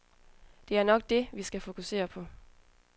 Det er nok det, vi skal fokusere på.